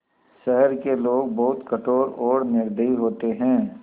शहर के लोग बहुत कठोर और निर्दयी होते हैं